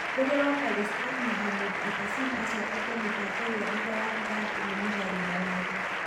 Mũtongoria wa Palestina, Mahmoud Abbasnĩ acoketie mĩbango ĩyo thutha na kuuga atĩ nĩ "mũgarũ na watho".